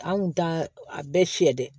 An kun t'a a bɛɛ fiyɛ dɛ